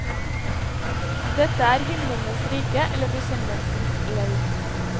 Dette er himlenes rike eller bekjennelsens leir.